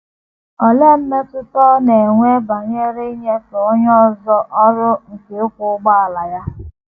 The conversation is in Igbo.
Olee mmetụta ọ na - enwe banyere inyefe onye ọzọ ọrụ nke ịkwọ ụgbọala ya?